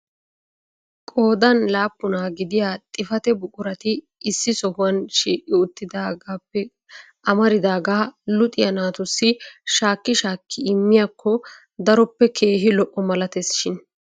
Qoodan laappuna gidiya xifate buqurati issi sohuwan shiiqi uttidaagappe amamridaaga luxiyaa naatussi shakki shaakki immiyakko daroppe keehi lo"o malatees shin!